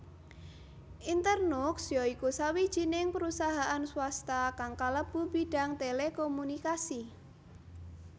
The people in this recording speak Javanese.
Internux ya iku sawijining perusahaan swasta kang kalebu bidang telekomunikasi